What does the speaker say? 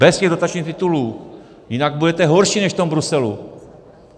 Bez těch dotačních titulů, jinak budete horší než v tom Bruselu.